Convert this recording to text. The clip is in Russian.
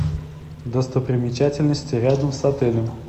достопримечательности рядом с отелем